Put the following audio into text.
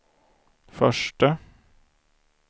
förste